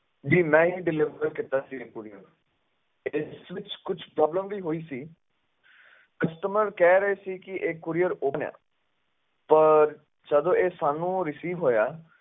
ਜੀ ਮੈਂ ਹੀ deliver ਕੀਤਾ ਸੀ ਇਹ courier ਇਸ ਵਿੱਚ ਕੁਛ problem ਵੀ ਹੋਈ ਸੀ customer ਕਹਿ ਰਹੇ ਸੀ ਕਿ ਇਹ courier open ਆਂ ਪਰ ਜਦੋਂ ਇਹ ਸਾਨੂੰ receive ਹੋਇਆ,